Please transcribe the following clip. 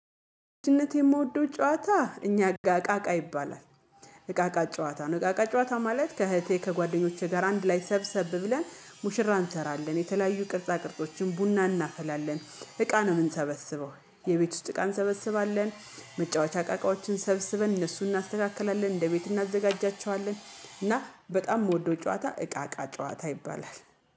ልጅነቴ የምወደው ጨዋታ እኛ እቃቃቃ ይባላል። እቃቃ ጨዋታ ነው እቃቃ ጨዋታ ማለት ከእህቴ ከጓደኞቼ ጋር አንድ ላይ ሰብሰብ ብለን ሙሽራ እንሰራለን የተለያዩ ቅርጻ ቅርጾችን ቡና እናፈላለን እቃ ነው የምንሰበስበው። የቤት ውስጥ እቃ እንሰበስባለን መጫወቻ እቃቃዎችን ሰብስበን እነሱን እናስተካክላለን እንደ ቤት እናዘጋጃቸዋለን። እና በጣም የምወደው ጨዋታ እቃቃ ጨዋታ ይባላል